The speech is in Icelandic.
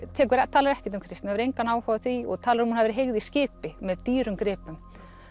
talar ekkert um kristni hefur engan áhuga á því og talar hún hafi verið heygð í skipi með dýrum gripum